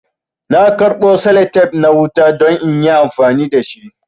Na karbo salatep na wuta don inyi amfani dashi